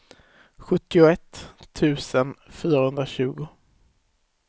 sjuttioett tusen fyrahundratjugo